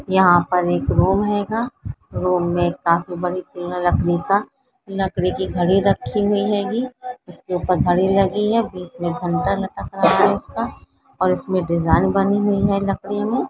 यहाँ पर एक रूम हैगा रूम मे काफी लकड़ी की घड़ी रखी हुई हेगी इसके ऊपर घडी लगी है बीच मे घंटा लगा है उसका और उसमे डिजाइन बनी हुई है लकड़ी मे।